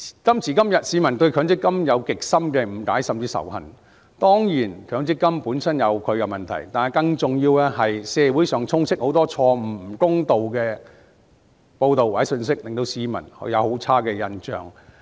今時今日，市民對強積金有極深的誤解甚至仇恨，當然強積金本身有其問題，但更重要的是社會上充斥很多錯誤、不公道的報道或信息，令市民對強積金印象很差。